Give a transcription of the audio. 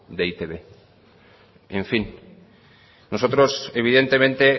del e i te be en fin nosotros evidentemente